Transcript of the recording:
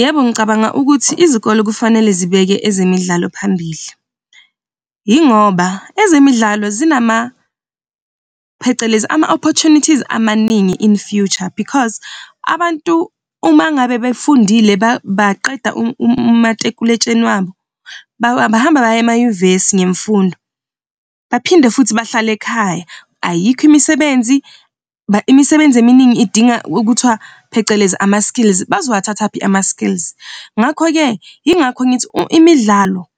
Yebo, ngicabanga ukuthi izikole kufanele zibeke ezemidlalo phambili. Yingoba ezemidlalo zinama phecelezi ama-opportunities amaningi in future, because abantu uma ngabe befundile baqeda umatikuletsheni wabo bahamba baye emanyuvesi ngemfundo, baphinde futhi bahlale ekhaya. Ayikho imisebenzi, imisebenzi eminingi idinga okuthiwa phecelezi ama-skills bazowathathaphi ama-skills. Ngakho-ke yingakho ngithi imidlalo